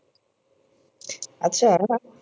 আচ্ছা